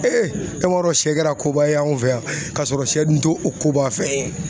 e m'a dɔ sɛ kɛra koba ye anw fɛ yan kasɔrɔ sɛ dun to o koba fɛn ye.